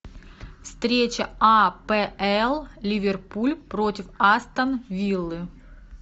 встреча апл ливерпуль против астон виллы